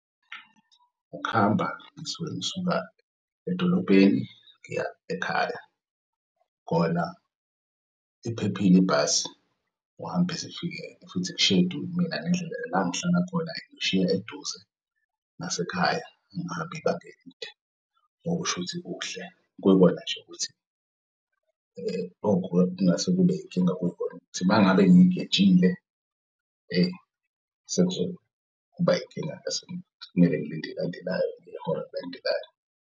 Ukuhamba ngisuke ngisuka edolobheni ngiya ekhaya kona iphephil'ibhasi uhambe zifike futhi mina nendlela la engihlala khona ngishiy'eduze nasekhaya angihambi ibanga elide. Ngoba ush'uthi kuhle kuyikona nase kube yinkinga. Kuyikona ukuthi mangabe ngiyigejile sekuzoba yinkinga mase kumele ngilinde elandelayo ngehora elilandelayo.